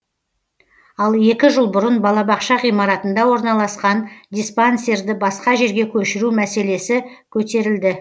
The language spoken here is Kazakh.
ал екі жыл бұрын балабақша ғимаратында орналасқан диспансерді басқа жерге көшіру мәселесі көтерілді